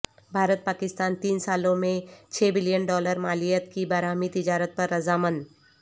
بھارت پاکستان تین سالوں میں چھ بلین ڈالرمالیت کی باہمی تجارت پر رضامند